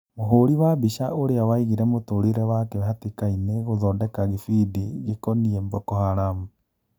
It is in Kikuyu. Mũhũri wa mbica ũrĩa waigire mũtũrĩre wake hatĩkainĩ gũthondeka gĩbindi gĩkoniĩ Mboko Haramu.